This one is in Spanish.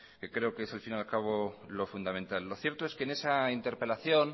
que creo que es al fin y al cabo lo fundamental lo cierto es que en esa interpelación